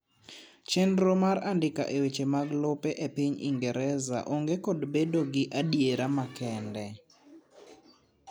chenro mar andika e weche mag lope e piny ingereza ong'e kod bedo gi adiera makende